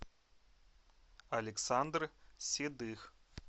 александр седых